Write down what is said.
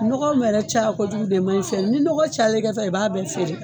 Nɔgɔ yɛrɛ caya ko jugu de man ɲi fɛn ni nɔgɔ cayala i ka fɛn na i b'a bɛɛ feere.